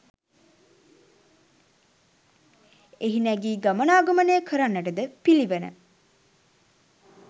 එහි නැගී ගමනාගමනය කරන්නටද පිළිවන.